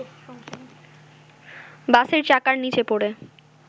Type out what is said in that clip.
বাসের চাকার নিচে পড়ে